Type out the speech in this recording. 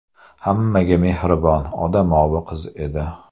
Hammaga mehribon, odamovi qiz edi.